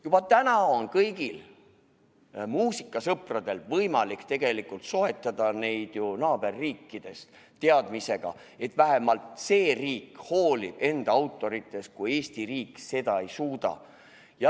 Juba praegu on kõigil muusikasõpradel ju võimalik tegelikult soetada seadmeid naaberriikidest, teadmisega, et vähemalt see teine riik hoolib enda autoritest, kui Eesti riik seda ei suuda.